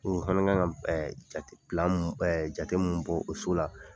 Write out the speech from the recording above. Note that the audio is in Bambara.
Ɔ an dun ka kan ɛ jate plan ɛɛ jate min bɔ o so la